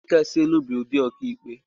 Ụlọikpe Kasị Elu bụ ụdị ọkàikpe.